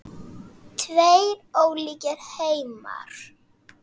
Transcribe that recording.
Tveir ólíkir heimar.